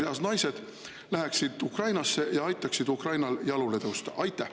… läheksid fertiilses eas naised Ukrainasse ja aitaksid Ukrainal jalule tõusta?